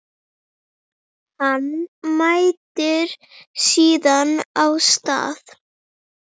Hann mætir síðan á stað